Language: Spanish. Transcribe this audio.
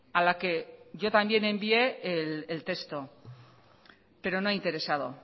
a la que yo también envié el texto pero no ha interesado